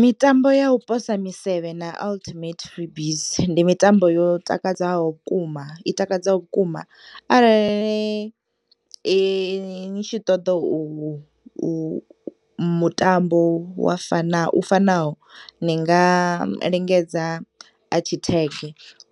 Mitambo ya u posa misevhe na ultimate frisbeesndi mitambo yo takdzaho vhukuma itakadzaho vhukuma arali nitshi ṱoḓa u u mutambo wafana u fanaho ni ngalingedza atshitheke